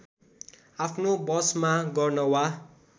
आफ्नो वशमा गर्न वा